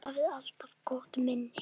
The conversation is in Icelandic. Vorum bara saman eina nótt.